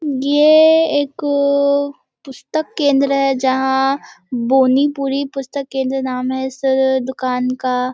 ये एक पुस्तक केंद्र है जहाँ बोनीपुरी पुस्तक केंद्र नाम है इस दुकान का।